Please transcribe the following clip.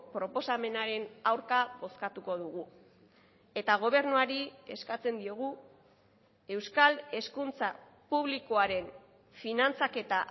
proposamenaren aurka bozkatuko dugu eta gobernuari eskatzen diogu euskal hezkuntza publikoaren finantzaketa